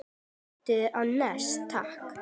Vestur á Nes, takk!